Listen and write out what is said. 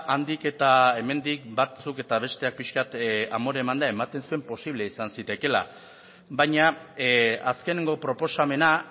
handik eta hemendik batzuk eta besteak piska bat amore emanda ematen zuen posible izan zitekeela baina azkeneko proposamena